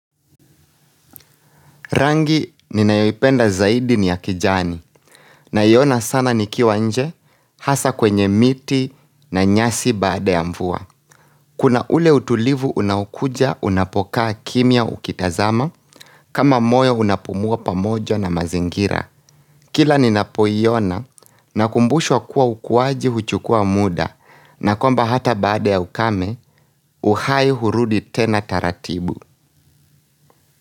Rangi ni nayoipenda zaidi ni ya kijani na iona sana nikiwa nje hasa kwenye miti na nyasi baada ya mvuwa. Kuna ule utulivu unaokuja unapokaa kimia ukitazama kama moyo unapumua pamojo na mazingira. Kila ninapoiona na kumbushwa kuwa ukuwaji uchukua muda na kwamba hata baada ya ukame uhai hurudi tena taratibu.